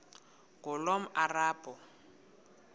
ngulomarabu